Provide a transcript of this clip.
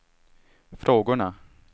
frågorna